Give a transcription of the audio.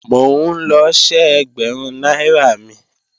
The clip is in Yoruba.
Mò ń lọ ṣẹ́ ẹgbẹ̀rún náírà mi